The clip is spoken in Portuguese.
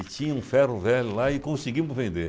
E tinha um ferro-velho lá e conseguimos vender.